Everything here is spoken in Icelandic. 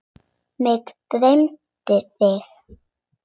Mig dreymdi þig.